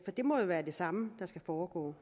det må jo være det samme der skal foregå